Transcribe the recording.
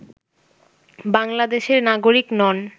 বাংলাদেশের নাগরিক নন